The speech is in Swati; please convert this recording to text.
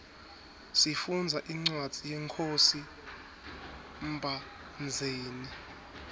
sifundza incwadzi yenkhosi mbhandzeni